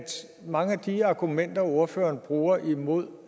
mange af de argumenter ordføreren bruger imod